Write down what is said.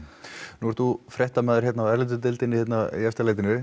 nú ert þú fréttamaður hérna á erlendu deildinni í Efstaleitinu